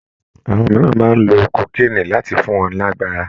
Àwọn mìíràn máa ń lo kókéènì láti fún wọn lágbára